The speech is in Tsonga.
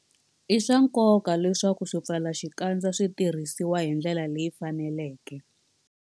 I swa nkoka leswaku swipfalaxikandza swi tirhisiwa hi ndlela leyi faneleke.